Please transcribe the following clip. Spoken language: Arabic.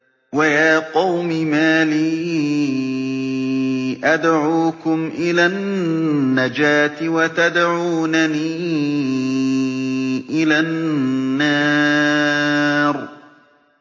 ۞ وَيَا قَوْمِ مَا لِي أَدْعُوكُمْ إِلَى النَّجَاةِ وَتَدْعُونَنِي إِلَى النَّارِ